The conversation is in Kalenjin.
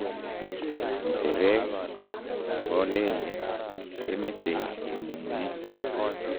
Nyecheree nipo lele kumechei kemung'e.